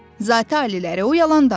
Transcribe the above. Zati-aliləri, o yalan danışır.